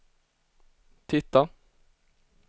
titta